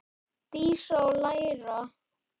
Dísa: Og læra.